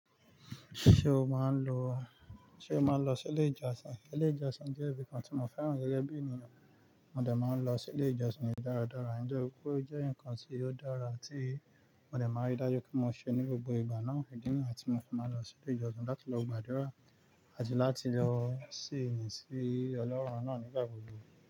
Ṣé o máa ń lọ, ṣe o máa ń lọ sí ilé ìjọsìn? Ilé ìjọsìn jẹ́ ibìkan tí mo fẹ́ràn gẹ́gẹ́ bí ènìyàn. Mo de máa ń lọ sí ilé ìjọsìn ní ìdáradára. Nígbà wo ó jẹ́ nǹkan tí yóò dára tí mo dà máa ń dájú kí mo ṣe ní gbogbo ìgbà náà, ìdírí àti mo sì máa lọ sí ilé ìjọsìn láti lọ gbàdúrà àti láti lọ ṣìì ní sí Ọlọ́run náà nígbà gbogbo.